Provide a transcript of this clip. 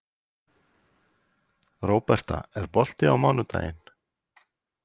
Róberta, er bolti á mánudaginn?